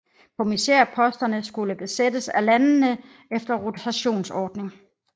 Kommissærposterne skulle besættes af landene efter en rotationsordning